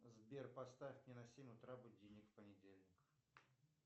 сбер поставь мне на семь утра будильник в понедельник